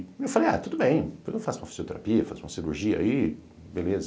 E eu falei, ah, tudo bem, depois eu faço uma fisioterapia, faço uma cirurgia aí, beleza.